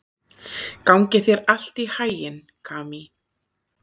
Gangi þér allt í haginn, Kamí.